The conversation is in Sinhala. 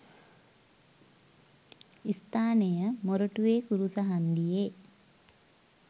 ස්ථානය මොරටුවේ කුරුස හංදියේ